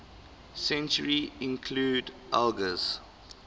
century include elgar's